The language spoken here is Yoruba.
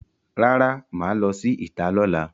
Rara, maa lo si ita lola.